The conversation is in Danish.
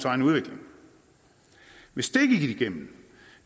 egen udvikling hvis det gik igennem